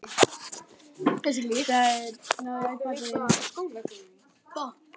Þeir þurftu að skila af sér viðamiklum skýrslum.